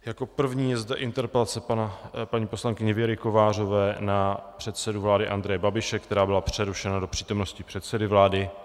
Jako první je zde interpelace paní poslankyně Věry Kovářové na předsedu vlády Andreje Babiše, která byla přerušena do přítomnosti předsedy vlády.